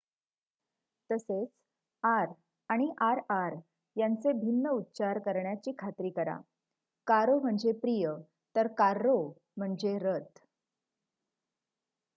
तसेच आर आणि आरआर यांचे भिन्न उच्चारण करण्याची खात्री कराः कारो म्हणजे प्रिय तर कार्रो म्हणजे रथ